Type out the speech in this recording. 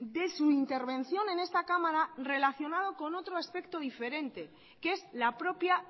de su intervención en esta cámara relacionado con otro aspecto diferente que es la propia